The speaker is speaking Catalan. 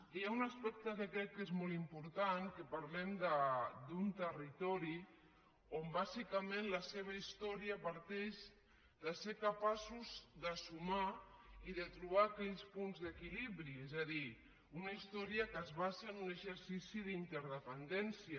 hi ha un aspecte que crec que és molt important que parlem d’un territori on bàsicament la seva història parteix de ser capaços de sumar i de trobar aquells punts d’equilibri és a dir una història que es basa en un exercici d’interdependència